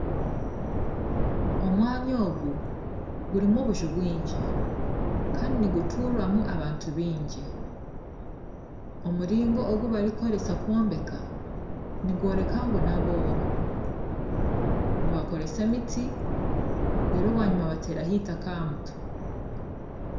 Omwanya ogu gurimu obuju bwingi kandi niguturwamu abantu baingi, omuringo ogu barikukoresa kwombeka nigworeka ngu n'abooro nibakoresa emiti reero bwanyima bateeraho eitaka aha mutwe